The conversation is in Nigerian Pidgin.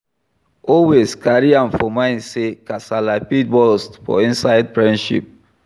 Always carry am for mind sey kasala fit burst for inside friendship